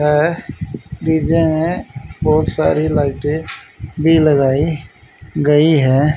यह डी_जे में बहोत सारी लाइटे भी लगाई गई है।